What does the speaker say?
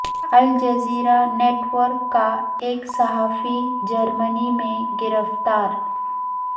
Al Jazeera network کا ایک صحافی جرمنی میں گرفتار